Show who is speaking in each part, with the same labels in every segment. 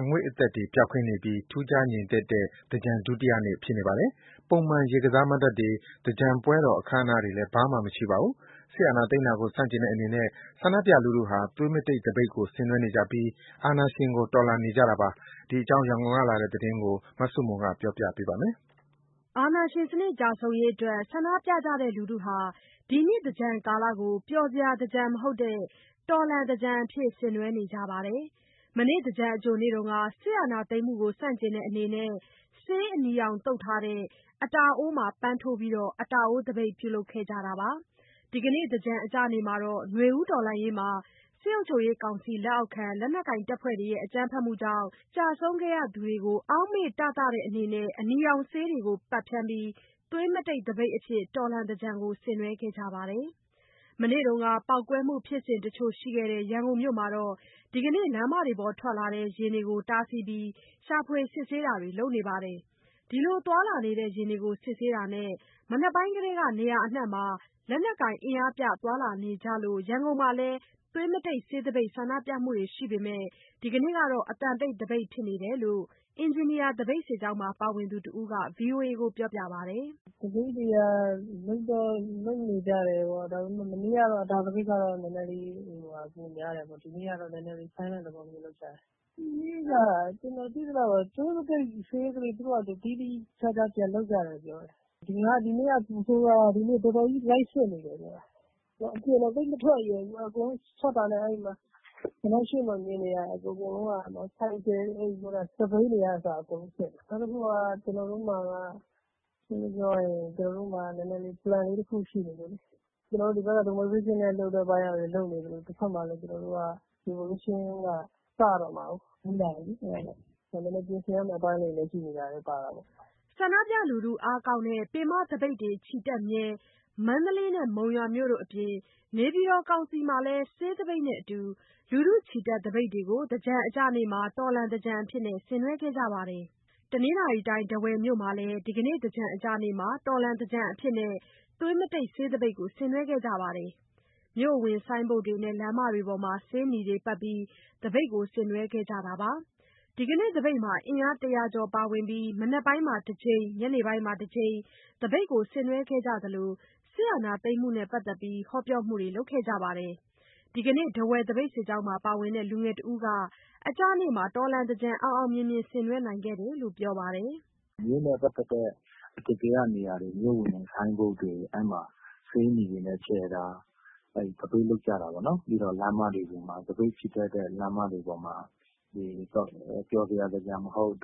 Speaker 1: အငွေ့အသက်တွေ ပျောက်ကင်းနေပြီး ထူးခြားငြိမ်သက်တဲ့ သင်္ကြန်ဒုတိယနေ့ ဖြစ်နေပါတယ်။ ပုံမှန် ရေကစားမဏ္ဍပ်တွေ၊ သင်္ကြန်ပွဲတော် အခမ်းအနားတွေလည်း ဘာမှမရှိပါဘူး။ စစ်အာဏာသိမ်းတာကို ဆန့်ကျင်တဲ့အနေနဲ့ ဆန္ဒပြလူထုဟာ သွေးမတိတ်သပိတ်ကို ဆင်နွှဲနေကြပြီး အာဏာရှင်ကို တော်လှန်နေကြတာပါ။ ရန်ကုန်ကလာတဲ့ သတင်းကို မဆုမွန်က ပြောပြထားပါတယ်
Speaker 2: ။ အာဏာရှင်စနစ် ကျဆုံးရေးအတွက် ဆန္ဒပြနေကြတဲ့လူထုဟာ ဒီနှစ်သင်္ကြန်ကာလကို ပျော်စရာသင်္ကြန်မဟုတ်တဲ့ တော်လှန်သင်္ကြန်အဖြစ် ဆင်နွှဲနေကြပါတယ်။ မနေ့က သင်္ကြန်အကြိုနေ့တုန်းက စစ်အာဏာသိမ်းမှုကို ဆန့်ကျင်တဲ့အနေနဲ့ ဆေးအနီရောင်သုတ်ထားတဲ့ အတာအိုးမှာ ပန်းထိုးပြီး အတာအိုးသပိတ် ပြုလုပ်ခဲ့တာပါ။ ဒီကနေ့ သင်္ကြန်အကျနေ့မှာတော့ နွေဦးတော်လှန်ရေးမှာ စစ်ကောင်စီလက်အောက်ခံ လက်နက်ကိုင်တွေရဲ့ အကြမ်းဖက်မှုကြောင့် ကျဆုံးခဲ့ကြသူတွေကို အောက်မေ့တသတဲ့ အနေနဲ့ အနီရောင်ဆေးတွေကို ပက်ဖြန်းပြီး သွေးမတိတ်သပိတ်အဖြစ် တော်လှန်သင်္ကြန်ကို ဆင်နွှဲခဲ့ကြပါတယ်။ မနေ့က ပေါက်ကွဲမှုဖြစ်စဉ်တချို့ရှိခဲ့တဲ့ ရန်ကုန်မြို့မှာတော့ ဒီကနေ့ လမ်းပေါ်ထွက်လာတဲ့ ယာဉ်တွေကို တားဆီးပြီး ရှာဖွေစစ်ဆေးတာတွေ လုပ်နေပါတယ်။ ဒီလို သွားလာနေတဲ့ယာဉ်တွေကို စစ်ဆေးတာနဲ့ မနက်ပိုင်းကတည်းက နေရာအနှံ့မှာ လက်နက်ကိုင်အင်အားပြ သွားလာနေကြလို့ ရန်ကုန်မှာလည်း သွေးမတိတ်ဆေးသပိတ်ဆန္ဒပြမှုတွေရှိပေမဲ့ ဒီနေ့ကတော့ အသံတိတ်သပိတ်ဖြစ်နေတယ်လို့ အင်ဂျင်နီယာသပိတ်စစ်ကြောင်းမှာ ပါဝင်သူတစ်ဦးက VOA ကိုပြောပါတယ်။
Speaker 3: “သပိတ်တွေကတော့ လုပ်တော့လုပ်နေကြတယ်ပေါ့။ ဒါပေမယ့် မနေ့က အတာအိုးသပိတ်ကတော့ နည်းနည်း ပိုများတယ်ပေါ့။ ဒီနေ့ကတော့ Silent သဘောမျိုးလုပ်ကြတယ်။ ဒီနေ့ ကျနော်သိသလောက်တော့ သွေးမတိတ် ဆေးသပိတ်ကို သူတို့ သီးသီးခြားခြားပြန်လုပ်ကြတယ်လို့တော့ ကြားတယ်။ ဒီနေ့က ပိုဆိုးတာက တော်တော်ကြီးလိုက်စစ်နေတယ်ဗျ။ ကျနော် အပြင်တောင် သိပ်မထွက်ရဲဘူး။ ထွက်တာနဲ့ အဲ့ဒီမှာ ရှေ့မှာ မြင်နေရတယ်။ ဆိုင်ကယ်တွေ စက်ဘီးတွေကအစ အကုန်စစ်တာ။ နောက်တစ်ခုက ရှင်းရှင်းပြောရရင် ကျနော်တို့မှာက Plan လေးတစ်ခုရှိနေလို့လေ။ ဒီဖက်မှာ Demonstration ပိုင်းကလည်း သူတို့ လုပ်စရာရှိတာ လုပ်နေသလို တဖက်မှာလည်း ကျွန်တော်တို့က Revolution က စတော့မှာကိုး နီးလာပြီလေ။ အဲ့ဒါကြောင့် နည်းနည်း ပြင်ဆင်ရမယ့် အပိုင်းလေးတွေလည်း ရှိနေတာကြောင့်လည်း ပါတာပေါ့
Speaker 2: ။” ဆန္ဒပြလူထုအားကောင်းတဲ့ ပင်မသပိတ်တွေချီတက်မြဲ မန္တလေးနဲ့ မုံရွာမြို့တို့အပြင် နေပြည်တော်ကောင်စီမှာလည်း ဆေးသပိတ်နဲ့အတူ လူထုချီတက်သပိတ်တို့ကို သင်္ကြန်အကျနေ့မှာ တော်လှန်သင်္ကြန်အဖြစ် ဆင်နွှဲခဲ့ကြပါတယ်။ တနင်္သာရီတိုင်း ထားဝယ်မြို့မှာလည်း ဒီကနေ့ သင်္ကြန်အကျနေ့မှာ တော်လှန်သင်္ကြန်အဖြစ်နဲ့ သွေးမတိတ် ဆေးသပိတ်ကို ဆင်နွဲခဲ့ကြပါတယ်။ မြို့အဝင်ဆိုင်းဘုတ်တွေနဲ့ လမ်းမတွေမှာ ဆေးနီတွေပက်ပြီး သပိတ်ကို ဆင်နွှဲခဲ့ကြတာပါ။ ဒီကနေ့ သပိတ်မှာ အင်အား ၁၀၀ ကျော်ပါဝင်ပြီး မနက်ပိုင်းမှာတစ်ကြိမ်၊ ညနေပိုင်းမှာတစ်ကြိမ် သပိတ်ကို ဆင်နွှဲခဲ့ကြသလို စစ်အာဏာသိမ်းမှုနဲ့ ပတ်သက်လို့ ဟောပြောမှုတွေလည်း လုပ်ခဲ့ကြပါတယ်။ ဒီကနေ့ ထားဝယ်သပိတ်စစ်ကြောင်းမှာ ပါဝင်တဲ့ လူငယ်တဦးက အကျနေ့အတွက် တော်လှန်သင်္ကြန်အောင်အောင်မြင်မြင် ဆင်နွှဲနိုင်ခဲ့တယ်လို့ ပြောပါတယ်။
Speaker 1: “မြို့နဲ့ ပတ်သက်တဲ့ အထင်ကရနေရာတွေ၊ မြို့ဝင်ဆိုင်းဘုတ်တွေ အဲ့မှာ ဆေးနီတွေနဲ့ ခြယ်တာ၊ သပိတ်လုပ်ကြတာပေါ့နော်။ ပြီးတော့ သပိတ်ချီတက်တဲ့ လမ်းမတွေပေါ်မှာ ပျော်စရာသင်္ကြန်မဟုတ်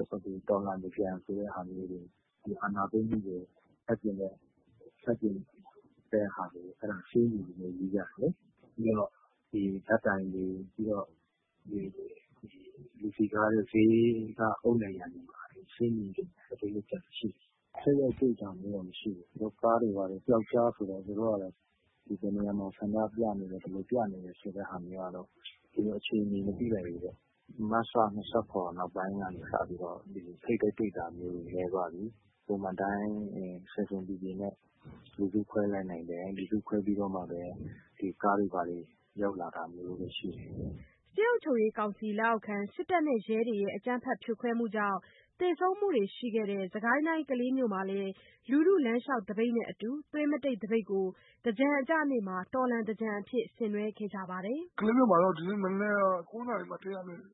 Speaker 1: တော်လှန်သင်္ကြန်ဆိုတဲ့ဟာမျိုးတွေ ဒီအာဏာသိမ်းမှုကို ဆန့်ကျင်တဲ့ဟာမျိုးတွေ အဲ့ဒါတွေကို ဆေးနီနဲ့ ရေးကြတယ်လေ။ ပြီးတော့ ဓာတ်တိုင်တွေ၊ လူစည်ကားတဲ့ ဈေးက အုတ်နံရံတွေမှာ ဆေးနီသပိတ်လုပ်ကြတာရှိတယ်။ ထိပ်တိုက်တွေ့တာမျိုးတော့ မရှိဘူး။ ကားတွေဘာတွေနဲ့ ပြောက်ကျားဆိုတော့ ဘယ်နေရာမှာ ဘယ်လို ဆန္ဒပြနေတယ်ဆိုတဲ့ဟာမျိုးကတော့ သူတို့ အခြေအနေ မသိလိုက်ဘူးပေါ့။ မတ်လ ၂၇ နောက်ပိုင်းကနေ စပြီးတော့ ထိပ်တိုက်တွေတာမျိုးတွေနည်းသွားပြီ။ ပုံမှန်အတိုင်း ဆင်ဆင်ခြင်ခြင်နဲ့ လူစုခွဲလိုက်နိုင်တယ်။ လူစုခွဲပြီးတော့မှဘဲ သူတို့ကားတွေ ရောက်လာတာမျိုးပဲရှိတယ်။”
Speaker 2: စစ်ကောင်စီလက်အောက်ခံ စစ်တပ်နဲ့ ရဲတွေရဲ့ အကြမ်းဖက်ဖြိုခွဲမှုတွေကြောင့် သေဆုံးသူတွေရှိခဲ့တဲ့ စစ်ကိုင်းတိုင်း၊ ကလေးမြို့မှာလည်း လူထုလမ်းလျှောက်သပိတ်နဲ့အတူ သွေးမတိတ်သပိတ်ကို သင်္ကြန်အကျနေ့မှာ တော်လှန်သင်္ကြန်အဖြစ် ဆင်နွှဲခဲ့ပါတယ်။
Speaker 4: “ကလေးမြို့မှာတော့ ဒီနေ့မနက် ၈ နာရီ ၄၅ မိနစ်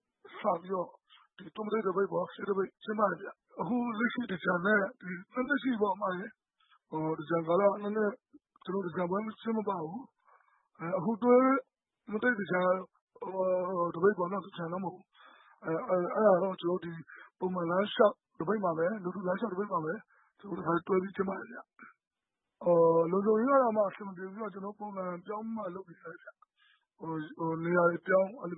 Speaker 4: ကနေ စပြီးတော့ သွေးမတိတ်သပိတ် ကျင်းပတယ်ဗျ။ အခု လက်ရှိသင်္ကြန်နဲ့... သင်္ကြန်ပွဲမကျင်းပတာ ၂နှစ်ရှိပြီပေါ့။ အခု သွေးမတိတ်သပိတ်ကိုတော့ ပုံမှန်လူထုလမ်းလျှောက်သပိတ်မှာပဲ တခါတည်းတွဲပြီး ကျင်းပတယ်ဗျ။ လုံခြုံရေးကတော့ အဆင်မပြေဘူး၊ ကျနော်တို့ နေရာတွေပြောင်း၊ စု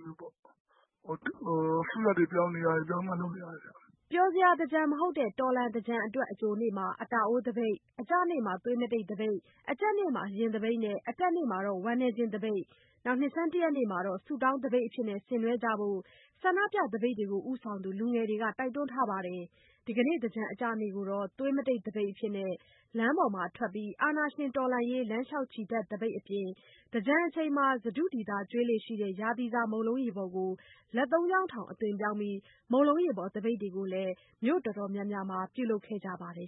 Speaker 4: ရပ်တွေပြောင်းပြီးတော့ လုပ်နေရတယ်ဗျ
Speaker 2: ။” ပျော်စရာသင်္ကြန် မဟုတ်တဲ့ တော်လှန်သင်္ကြန်အတွက် အကြိုနေ့မှာ အတာအိုးသပိတ်၊ အကျနေ့မှာ သွေးမတိတ်သပိတ်၊ အကြတ်နေ့မှာ ယာဉ်သပိတ်နဲ့ အတက်နေ့မှာတော့ ဝမ်းနည်းခြင်းသပိတ်၊ နှစ်ဆန်းတရက်နေ့မှာတော့ ဆုတောင်းသပိတ်အဖြစ် ဆင်နွှဲကြဖို့ ဆန္ဒပြသပိတ်ဦးဆောင်သူ လူငယ်တွေက တိုက်တွန်းထားပါတယ်။ ဒီကနေ့ သင်္ကြန်အကျနေ့ကိုတော့ သွေးမတိတ်သပိတ်၊ လမ်းပေါ်ထွက်ပြီး အာဏာရှင်တော်လှန်ရေး လမ်းလျှောက်ချီတက်သပိတ်အပြင် သင်္ကြန်အချိန်မှာ စတုဒီသာကျွေးလေ့ရှိတဲ့ ရာသီစာ မုန့်လုံးရေပေါ်ကို လက်သုံးချောင်းထောင် အသွင်ပြောင်းပြီး မုန့်လုံးရေပေါ်သပိတ်တို့ကိုလည်း မြို့တော်တော်များများမှာ လုပ်ခဲ့ကြပါတယ်